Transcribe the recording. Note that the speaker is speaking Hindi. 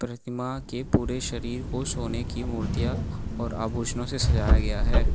प्रतिमा के पूरे शरीर को सोने की मूर्तियां और आभूषणों से सजाया गया है।